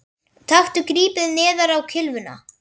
Taktu gripið neðar á kylfuna